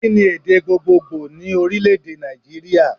Kí ni èdè gbogbogbò ní Orílèdè Nàìjíríà